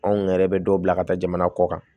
Anw yɛrɛ bɛ dɔw bila ka taa jamana kɔ kan